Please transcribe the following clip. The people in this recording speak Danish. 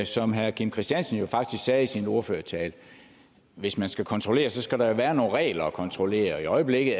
som herre kim christiansen sagde i sin ordførertale at hvis man skal kontrollere skal der være nogle regler at kontrollere i øjeblikket